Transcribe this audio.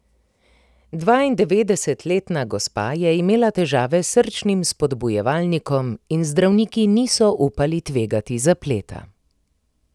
Dvaindevetdesetletna gospa je imela težave s srčnim spodbujevalnikom in zdravniki niso upali tvegati zapleta.